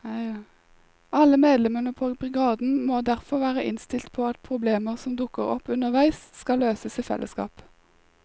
Alle medlemmene på brigaden må derfor være innstilt på at problemer som dukker opp underveis skal løses i fellesskap.